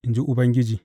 in ji Ubangiji.